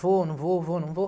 Vou, não vou, vou, não vou.